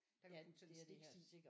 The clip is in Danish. Ja det er det her sikkert også altså